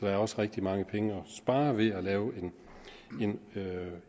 er også rigtig mange penge at spare ved at lave